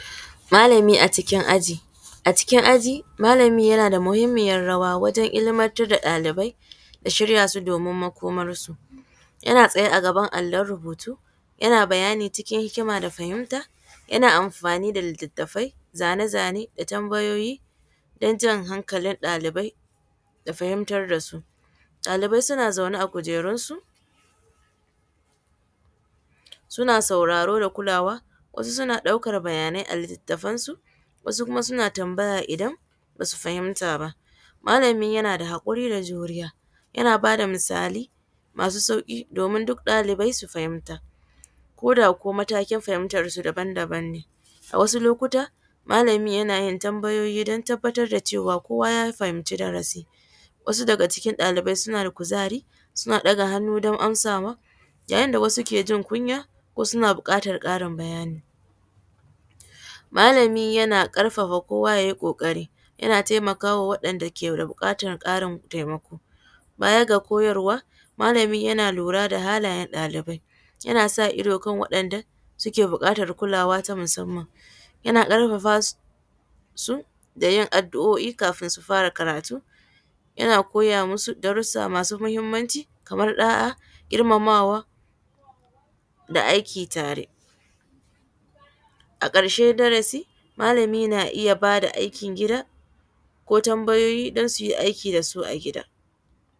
Malami a jikin aji, a cikin aji malami yana da muhimmiyar rawa wajen ilmantar da ɗalibai da shirya su domin makomar su, yana tsaye a gaban allon rubutu yana bayani cikin hikima da fahimta yana amfani da litattafai zane-zane da tambayoyi don jan hankalin ɗalibai da fahimtar da su, ɗalibai suna zaune kujerun su suna sauraro da kulawa suna ɗaukan bayanai a litafansu wasu kuma suna tambaya idan basu fahimta ba malami yana da hakuri da juriya, yana bada misalai masu sauki domin duk ɗalibai su fahimta ko da matakin fahimtar su daban-daban ne a wasu lokuta malami yana yin tambayoyi don tabbatar da cewa kowa ya fahimci darasi wasu daga cikin ɗalibai suna da kuzari suna ɗaga hannu don amsawa yayin da wasu ke jin kunya suna bukatar Karin bayani malami yana karfafa kowa yayi kokari yana taimakawa wanda ke da bukatar taimako, baya ga koyarwa malami yana lura da halayen ɗalibai yana sa ido kan wanda suke bukatar kulawa na musamman, yana karfafa su da yin adu’o’I kafin su fara karatu, yana koya masu darusa masu muhimmanci kamar ɗa’a girmamawa da aiki tare. A karshen darasi malami na iya bada aikin gida ko tambayoyi don suyi aiki da su a gida.